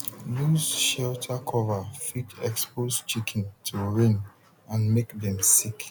loose shelter cover fit expose chicken to rain and make dem sick